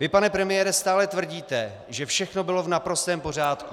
Vy, pane premiére, stále tvrdíte, že všechno bylo v naprostém pořádku.